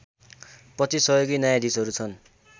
२५ सहयोगी न्यायाधीशहरू छन्